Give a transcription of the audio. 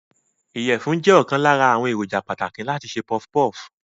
Ìyẹ̀fun jẹ́ ọ̀kan lára àwọn èròjà pàtàkì láti se puff puff.